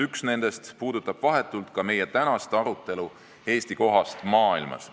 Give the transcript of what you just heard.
Üks nendest puudutab vahetult ka meie tänast arutelu Eesti kohast maailmas.